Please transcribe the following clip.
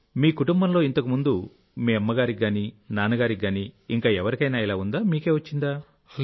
మీ కుటుంబంలో ఇంతకు ముందు మీ కుటుంబంలో మీ అమ్మకు గానీ నాన్నకు గానీ ఇంకా ఎవరికైనా ఇలా ఉందా మీకే వచ్చిందా